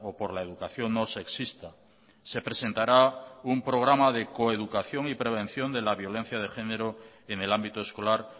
por la educación no sexista se presentará un programa de coeducación y prevención de la violencia de género en el ámbito escolar